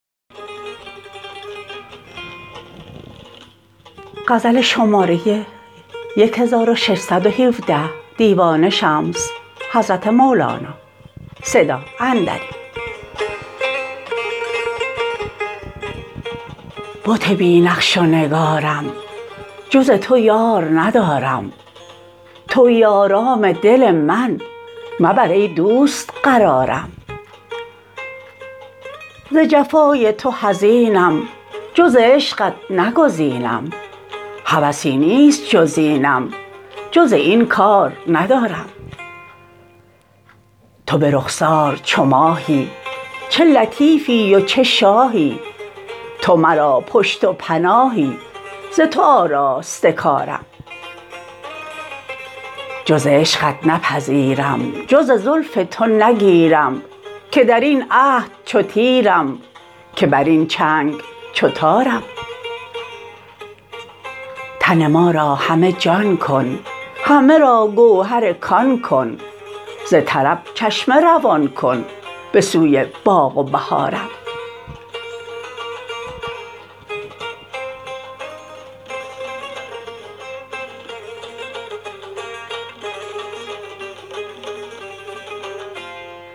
بت بی نقش و نگارم جز تو من یار ندارم توی آرام دل من مبر ای دوست قرارم ز جفای تو حزینم جز عشقت نگزینم هوسی نیست جز اینم جز از این کار ندارم تو به رخسار چو ماهی چه لطیفی و چه شاهی تو مرا پشت و پناهی ز تو آراسته کارم جز عشقت نپذیرم جز زلف تو نگیرم که در این عهد چو تیرم که بر این چنگ چو تارم تن ما را همه جان کن همه را گوهر کان کن ز طرب چشمه روان کن به سوی باغ و بهارم